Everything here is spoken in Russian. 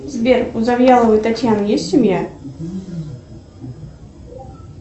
сбер у завьяловой татьяны есть семья